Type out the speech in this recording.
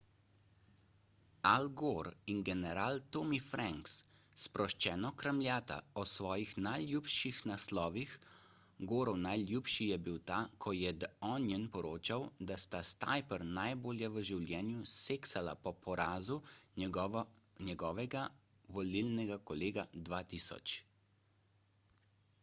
al gore in general tommy franks sproščeno kramljata o svojih najljubših naslovih gorov najljubši je bil ta ko je the onion poročal da sta s tipper najbolje v življenju seksala po porazu njegovega volilnega kolega 2000